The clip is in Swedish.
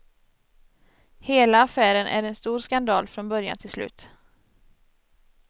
Hela affären är en stor skandal från början till slut.